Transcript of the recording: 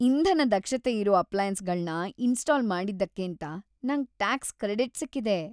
ಇಂಧನ-ದಕ್ಷತೆಯಿರೋ ಅಪ್ಲಾಯನ್ಸ್‌ಗಳ್ನ ಇನ್ಸ್ಟಾಲ್ ಮಾಡಿದ್ದಕ್ಕೇಂತ ನಂಗ್ ಟ್ಯಾಕ್ಸ್ ಕ್ರೆಡಿಟ್ ಸಿಕ್ಕಿದೆ.